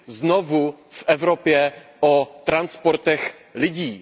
znovu v Evropě o transportech lidí?